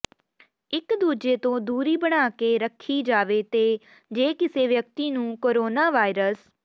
ਇਕ ਦੂਜੇ ਤੋਂ ਦੂਰੀ ਬਣਾ ਕੇ ਰੱਖੀ ਜਾਵੇਤੇ ਜੇ ਕਿਸੇ ਵਿਅਕਤੀ ਨੂੰ ਕੋਰੋਨਾ ਵਾਇਰਸ